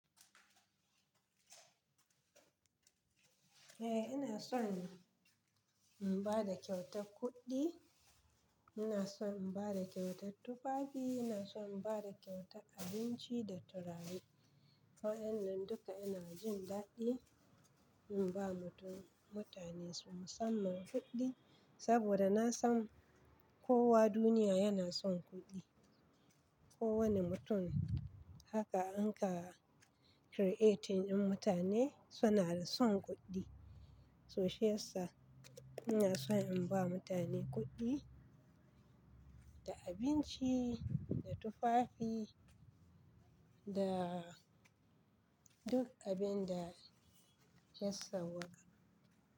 Eh, ina son in ba da kyautar kuɗi, ina son in ba da kyautar tufafi, ina son in ba da kyautar abinci da turare. Wa'innan duka ina jin daɗi in ba mutum-- mutane su musamman kuɗi. Saboda na san kowa duniya yana son kuɗi. Kowane mutum haka an ka creating in mutane suna son kuɗi. So shi yasa ina son in ba mutane kuɗi da abinci da tufafi da duk abin da ya sauwaka.